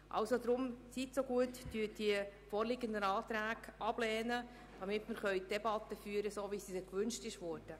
Deshalb bitte ich Sie, die vorliegenden Anträge abzulehnen, damit wir die Debatte so führen können, wie dies gewünscht wurde.